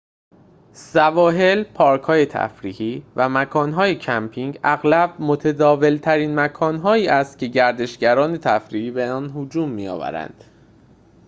سواحل پارک‌های تفریحی و مکان‌های کمپینگ اغلب متداول‌ترین مکان‌هایی است که گردشگران تفریحی به آنها هجوم می‌آورند